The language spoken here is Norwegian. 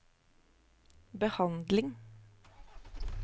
behandling